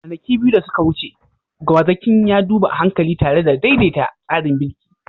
Kwanaki biyu da suka wuce, gwazakin ya duba a hankali tare da daidaita tsarin birki.